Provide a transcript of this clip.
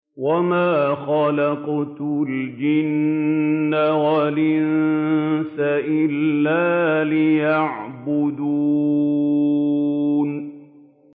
وَمَا خَلَقْتُ الْجِنَّ وَالْإِنسَ إِلَّا لِيَعْبُدُونِ